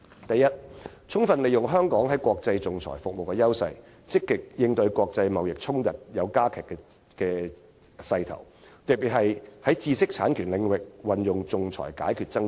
第一，充分利用香港在國際仲裁服務的優勢，積極應對國際貿易衝突的加劇勢頭，特別是在知識產權領域運用仲裁解決爭端。